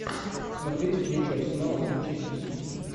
смотреть встречу арсенала с манчестер сити